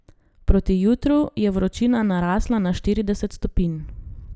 Proti jutru je vročina narasla na štirideset stopinj.